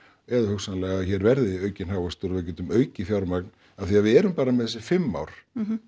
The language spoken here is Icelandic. eða hugsanlega að hér verði aukinn hagvöxtur og við getum aukið fjármagn af því að við erum bara með þessi fimm ár